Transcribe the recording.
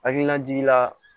Hakilinajigi la